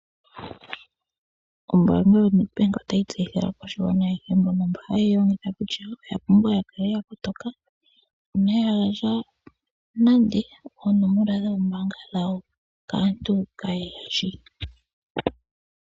Ombaanga yaNedbank otayi tseyithile aakwashigwana aehe mbono hayeyi longitha kutya oya pumbwa yakale yakotoka . Inaya gandja nande oonomola dhoombaanga dhawo kaantu kaaayeya shi.